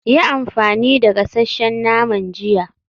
Yi amfani da gasasshen naman jiya.